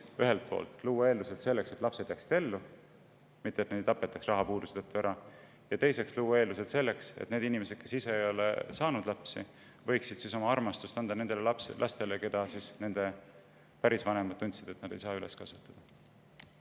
Ühelt poolt tuleks luua eeldused selleks, et lapsed jääksid ellu ja et neid rahapuuduse tõttu ära ei tapetaks, ja teiseks luua eeldused selleks, et need inimesed, kes ise ei ole saanud lapsi, võiksid oma armastust jagada nendele lastele, kelle puhul nende pärisvanemad on tundnud, et nad ei saa neid üles kasvatada.